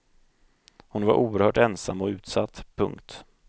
Hon var oerhört ensam och utsatt. punkt